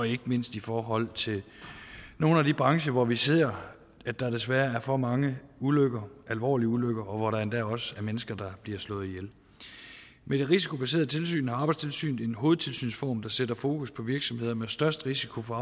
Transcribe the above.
ikke mindst i forhold til nogle af de brancher hvor vi ser at der desværre er for mange ulykker alvorlige ulykker og hvor der endda også er mennesker der bliver slået ihjel med det risikobaserede tilsyn er arbejdstilsynet i en hovedtilsynsform der sætter fokus på virksomheder med størst risiko for